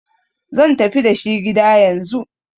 zan tafi dashi gida yanzu!